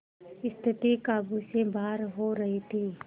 स्थिति काबू से बाहर हो रही थी